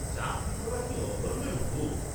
চাকরী করা কি অধর্ম্মের ভোগ!